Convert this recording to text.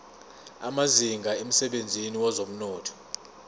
amazinga emsebenzini wezomnotho